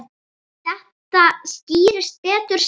Þetta skýrist betur síðar.